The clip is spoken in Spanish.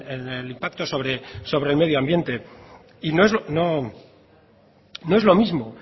en el impacto sobre el medio ambiente y